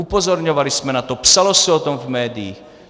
Upozorňovali jsme na to, psalo se o tom v médiích.